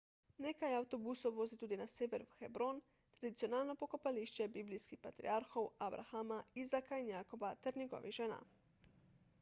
nekaj avtobusov vozi tudi na sever v hebron tradicionalno pokopališče biblijskih patriarhov abrahama izaka in jakoba ter njegovih žena